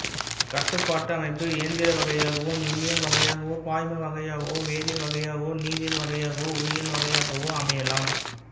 கட்டுபாட்டு அமைப்பு எந்திரவகையாகவோ மின்னியல் வகையாகவோ பாய்ம வகையாகவோ வேதியியல் வகையாகவோ நிதியியல் வகையாகவோ உயிரியல் வகையாகவோ அமையலாம்